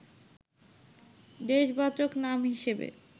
দেশবাচক নাম হিসেবে